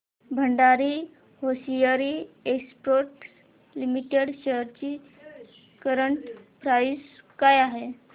Bhandari hosiery exports limited shares ची current price काय आहे